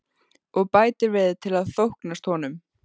Og bætir við til að þóknast honum.